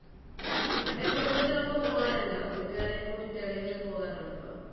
കുടുംബത്തിനൊപ്പം പോവാറുണ്ടോ വീട്ടുകാരെയും കൂട്ടിയിട്ട് എവിടെങ്കിലും പോകാറുണ്ടോ